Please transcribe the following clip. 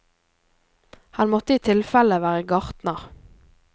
Han måtte i tilfelle være gartner.